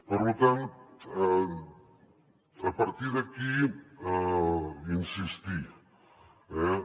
per tant a partir d’aquí insistir hi